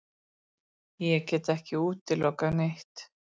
Ég get ekki útilokað neitt.